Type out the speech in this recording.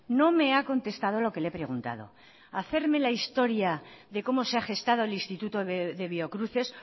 no me ha contestado lo que le he preguntado hacerme la historia de cómo se ha gestado el instituto de biocruces